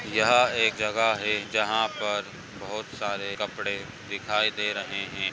यहा एक जगा है जहा पर बहुत सारे कपड़े दिखाई दे रहे है।